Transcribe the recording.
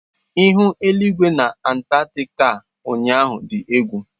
Ihu eligwe na Antaktika ụnyaahụ dị egwu.